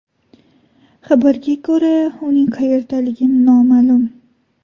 Xabarga ko‘ra, uning qayerdaligi noma’lum.